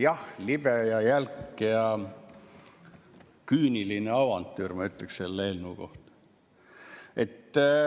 Jah, libe ja jälk ja küüniline avantüür, ma ütleks selle eelnõu kohta.